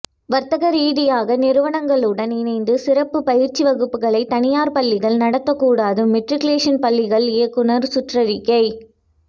வர்த்தக ரீதியாக நிறுவனங்களுடன் இணைந்து சிறப்பு பயிற்சி வகுப்புகளை தனியார் பள்ளிகள் நடத்தக் கூடாது மெட்ரிகுலேசன் பள்ளிகள் இயக்குனர் சுற்றறிக்கை